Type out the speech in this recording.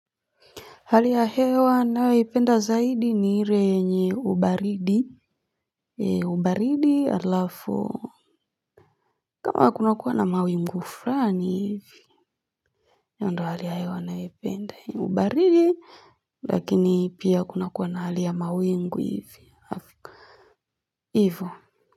Hali ya hewa nayopenda zaidi ni renye ubaridi. Ubaridi alafu kama kunakuwa na mawimgu frani hivi. Yondo halia hewa naipenda ni ubaridi lakini pia kuna kuwa na hali ya mawingu hivi. Hivyo.